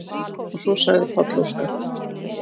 Og svo sagði Páll Óskar: